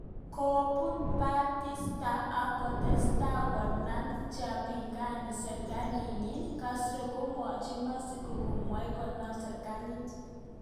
Kobun Batista ak kotestai konam chepingani sirkalit nenyi, Castro komweji Mexico gomwei kenam sirkalit.